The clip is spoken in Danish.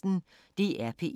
DR P1